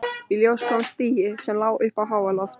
Í ljós kom stigi, sem lá upp á háaloft.